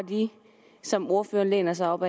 som ordføreren læner sig op